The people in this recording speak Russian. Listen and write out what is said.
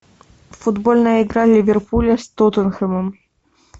футбольная игра ливерпуля с тоттенхэмом